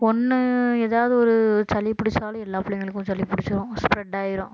ஒண்ணு ஏதாவது ஒரு சளி பிடிச்சாலும் எல்லா பிள்ளைகளுக்கும் சளி பிடிச்சிரும் spread ஆயிரும்